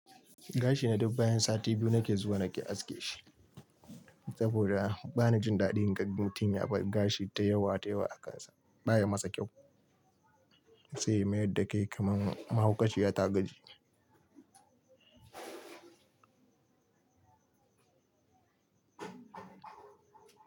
Gashi na duk bayan sati biyu na ke zuwa na ke aske shi, saboda bana jin daɗin gan mutum ya bar gashi da yawa da yawa a kansa. Ba ya masa kyau, sai ya mayar da kai kaman mahaukaciya ta gaji.